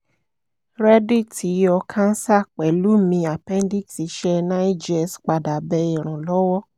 rẹ dit yọ cancer pẹlu mi appendix iṣẹ nine jears pada bẹ iranlọwọ